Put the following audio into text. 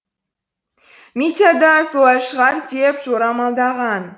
митя да солай шығар деп жорамалдаған